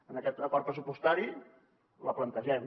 en aquest acord pressupostari la plantegem